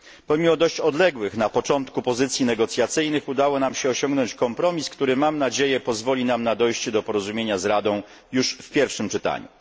Pomimo dość odległych na początku pozycji negocjacyjnych udało nam się osiągnąć kompromis, który mam nadzieję pozwoli nam na dojście do porozumienia z Radą już w pierwszym czytaniu.